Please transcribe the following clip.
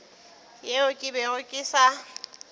yeo ke bego ke sa